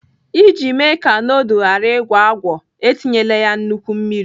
Iji mee ka nudul ghara ịgwọ agwọ, etinyela nnukwu mmiri.